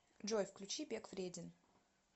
джой включи бег вреден